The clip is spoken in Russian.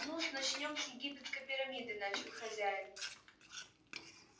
нус начнём с египетской пирамиды начал хозяин